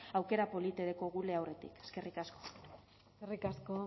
aukera polite dekogule aurretik eskerrik asko eskerrik asko